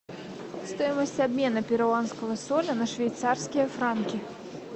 стоимость обмена перуанского соля на швейцарские франки